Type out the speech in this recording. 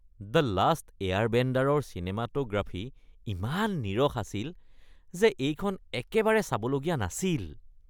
"The last এয়াৰবেণ্ডাৰ"ৰ cinematography ইমান নীৰস আছিল আৰু এইখন একেবাৰে চাবলগীয়া নাছিল।